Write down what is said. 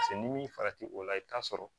Paseke n'i farati o la i bɛ t'a sɔrɔ